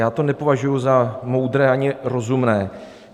Já to nepovažuji za moudré ani rozumné.